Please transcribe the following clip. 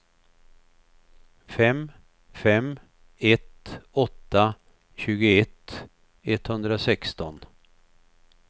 fem fem ett åtta tjugoett etthundrasexton